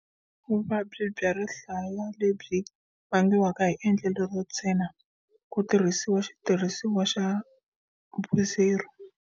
Vuvabyi bya rihlaya lebyi vangiwaka hi endlelo ro tshena ku tirhisiwa xitirhisiwa xa Burdizzo.